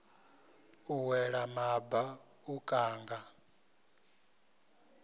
u wela maba u kanga